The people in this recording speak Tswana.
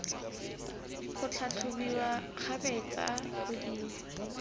go tlhatlhobiwa kgabetsa go di